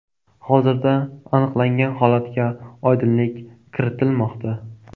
Hozirda aniqlangan holatga oydinlik kiritilmoqda.